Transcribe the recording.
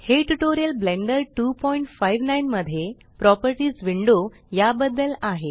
हे tutorial Blender 259 मध्ये properties window या बदद्ल आहे